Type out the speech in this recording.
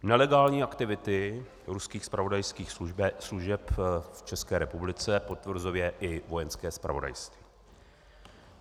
Nelegální aktivity ruských zpravodajských služeb v České republice potvrzuje i Vojenské zpravodajství.